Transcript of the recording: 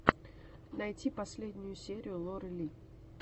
найти последнюю серию лоры ли